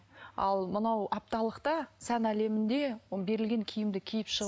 ал мынау апталықта сән әлемінде ол берілген киімді киіп